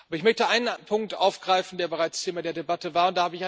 Ich möchte einen Punkt aufgreifen, der bereits Thema der Debatte war.